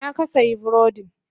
A ina ka sayi burodin?